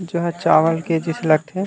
जहाँ चावल के जइसे लग थे।